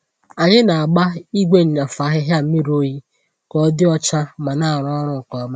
Ànyị na-agba igwe nnyafu ahịhịa mmiri oyi ka ọ dị ọcha ma na-arụ ọrụ nke ọma.